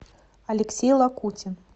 алексей лакутин